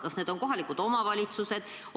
Kas need on kohalikud omavalitsused?